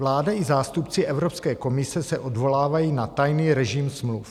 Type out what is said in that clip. Vláda i zástupci Evropské komise se odvolávají na tajný režim smluv.